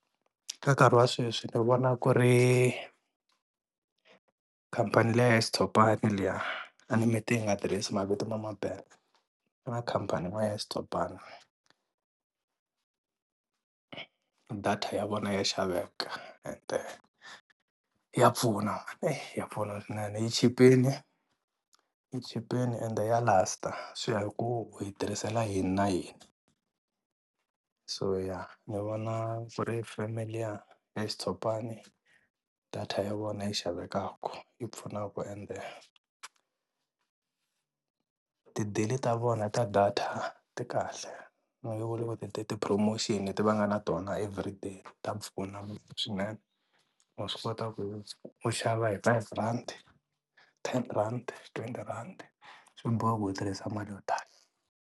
Ka nkarhi wa sweswi ni vona ku ri khampani leya xitshopana liya a ni mi te hi nga tirhisa mavito ya ma ku na khampani yin'wana ya xitshopana, data ya vona ya xaveka ende ya pfuna eyi ya pfuna swinene yi chipile, yi chipile ende ya last swi ya hi ku u yi tirhisela yini na yini. So ya, ni vona ku ri feme liya ya xutshopana data ya vona yi xavekaka yi pfunaka ende tidili ta vona ta data ti kahle no ti-promotion leti va nga na tona everyday ta pfuna swinene, wa swi kota ku u xava hi five rhandi, ten rhandi, twenty rhandi, a swi bohi ku u tirhisa mali yo tala.